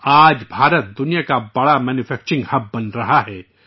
آج بھارت، دنیا کا بڑا مینوفیکچرنگ ہب بن رہا ہے